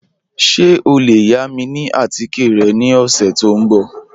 Ṣẹ o le yà mi atikẹ̀ rẹ ni ọṣẹ̀ tó nbọ̀?